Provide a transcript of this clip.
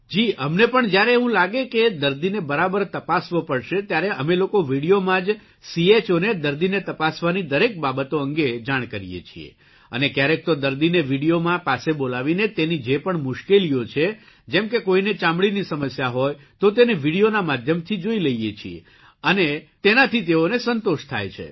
જી અમને પણ જ્યારે એવું લાગે કે દર્દીને બરાબર તપાસવો પડશે ત્યારે અમે લોકો વિડીયોમાં જ CHOને દર્દીને તપાસવાની દરેક બાબતો અંગે જાણ કરીએ છીએ અને કયારેક તો દર્દીને વિડિયોમાં પાસે બોલાવીને તેની જે પણ મુશ્કેલીઓ છે જેમ કે કોઇને ચામડીની સમસ્યા હોય તો તેને વિડીયોના માધ્યમથી જોઇ લઇએ છીએ તેનાથી તેઓને સંતોષ થાય છે